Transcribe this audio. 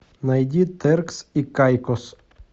найди теркс и кайкос